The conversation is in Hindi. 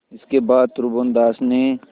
इसके बाद त्रिभुवनदास ने